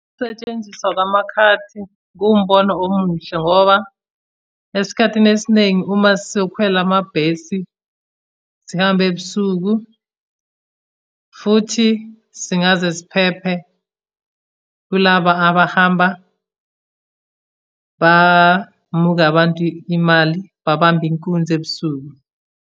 Ukusetshenziswa kwamakhadi, kuwumbono omuhle ngoba, esikhathini esiningi uma sizokhwela amabhesi sihambe ebusuku, futhi singaze siphephe kulaba abahamba bamuka abantu imali babambe inkunzi ebusuku.